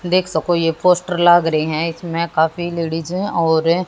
देख सको ये पोस्टर लाग रहे हैं इसमें काफी लेडिस हैं और--